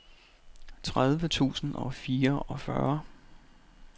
tredive tusind og fireogfyrre